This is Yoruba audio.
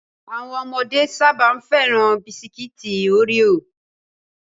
Àwọn ọmọdé sáábà féràn Bisikiti Oreo